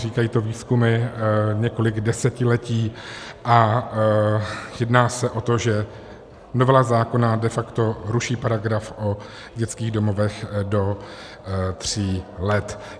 Říkají to výzkumy několik desetiletí a jedná se o to, že novela zákona de facto ruší paragraf o dětských domovech do tří let.